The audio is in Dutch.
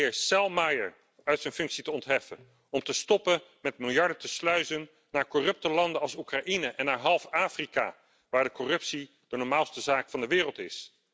Om de heer Selmayr uit zijn functie te ontheffen. Om te stoppen met miljarden te sluizen naar corrupte landen als Oekraïne en naar half Afrika, waar corruptie de normaalste zaak van de wereld